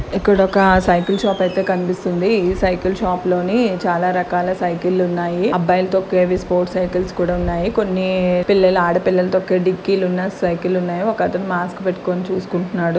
ఇక్కడ ఒక cycle shop అయితే కనిపిస్తుంది ఇ సైకిల్ షాప్ లోని చాల రకాలైన సైకిల్ లు ఉన్నాయి. అబ్బాయి లు తోక్కేవి స్పోర్ట్స్ సైకిల్స్ కూడా ఉన్నాయి కొన్ని పిల్లలు ఆడపిల్లలు తొక్కే డిక్కిలు ఉన్న సైకిల్ లు ఉన్నాయి ఒకతను మాస్క్ పెట్టుకొని చూసుకుంటున్నాడు.